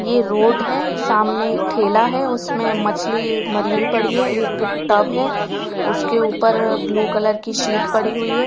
ये रोड है सामने ठेला है उसमे मछली मरी हुई पड़ी है एक टब है उसके ऊपर ब्लू कलर की शीट पड़ी हुई है।